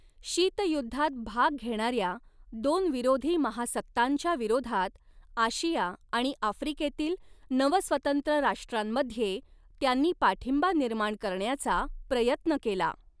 शीतयुद्धात भाग घेणार्या दोन विरोधी महासत्तांच्या विरोधात आशिया आणि आफ्रिकेतील नवस्वतंत्र राष्ट्रांमध्ये त्यांनी पाठिंबा निर्माण करण्याचा प्रयत्न केला.